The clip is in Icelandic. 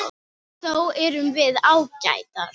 Þó erum við ágætar.